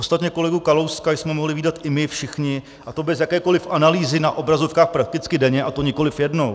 Ostatně kolegu Kalouska jsme mohli vídat i my všichni, a to bez jakékoli analýzy, na obrazovkách prakticky denně, a to nikoli jednou.